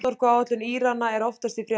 Kjarnorkuáætlun Írana er oft í fréttum.